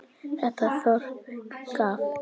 Þetta þorp gaf